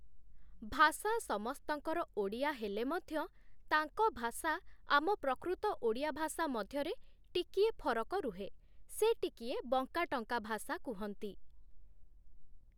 ଭାଷା ସମସ୍ତଙ୍କର ଓଡ଼ିଆ ହେଲେ ମଧ୍ୟ, ତାଙ୍କ ଭାଷା ଆମ ପ୍ରକୃତ ଓଡ଼ିଆ ଭାଷା ମଧ୍ୟରେ ଟିକିଏ ଫରକ ରୁହେ, ସେ ଟିକିଏ ବଙ୍କା ଟଙ୍କା ଭଷା କୁହନ୍ତି ।